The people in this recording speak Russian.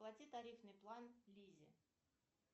плати тарифный план лизе